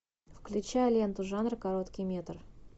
включай ленту жанра короткий метр